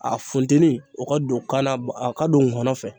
A funteni o ka don kan na bɔ a ka don ngɔnɔ fɛ.